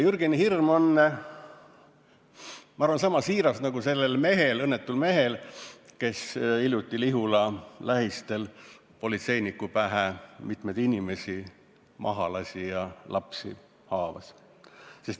Jürgeni hirm on, ma arvan, niisama siiras nagu sellel õnnetul mehel, kes hiljuti Lihula lähistel politseiniku pähe mitmeid inimesi maha lasi ja lapsi haavas.